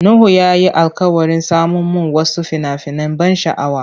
Nuhu ya yi alkawarin saman mun wasu fina-finan ban sha'awa.